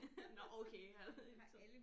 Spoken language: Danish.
Nåh okay han er ikke så